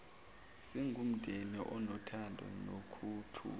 singumndeni onothando nokuthula